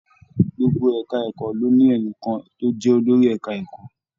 Gbogbo ẹka ẹ̀kọ́ ló ní enìkan tó jẹ́ olórí ẹka ẹ̀kọ́.